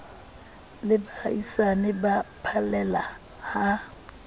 le baahisane ba phallela ha